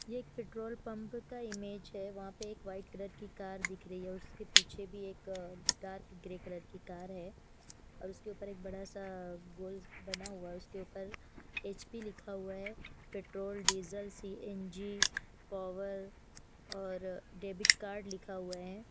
ये एक petrol pump का इमेज है वहा पे एक वाइट कलर की कार दिख रही है उसके पीछे भी एक डार्क ग्रे कलर की कार है और उसके ऊपर एक बड़ा सा गोल बना हुआ उसके ऊपर एच पी लिखा हुआ है petrol diesel C N G power और डेबिट कार्ड लिखा हुआ है।